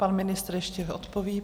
Pan ministr ještě odpoví.